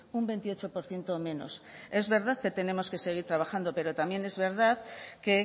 un veintiocho por ciento menos es verdad que tenemos que seguir trabajando pero también es verdad que